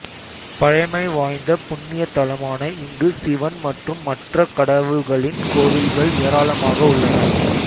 பழமை வாய்ந்த புண்ணிய தலமான இங்கு சிவன் மற்றும் மற்ற கடவுள்களின் கோவில்கள் ஏராளமாக உள்ளன